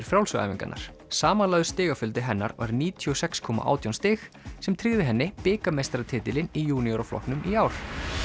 frjálsu æfingarnar samanlagður stigafjöldi hennar var níutíu og sex komma átján stig sem tryggði henni bikarmeistaratitilinn í juniora flokknum í ár